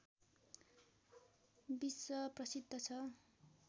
विश्व प्रसिद्ध छ